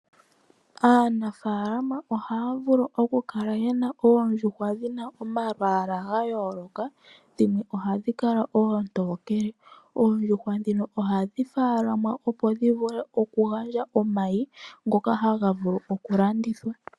Aanafaalama ohaya vulu okukala yena oondjuhwa dhina omalwaala gayooloka dhimwe kala oontokele. Oondjuhwa dhika ohadhi faalamwa opo dhi vule okugandja omayi ngoka haga vulu okulandithwa.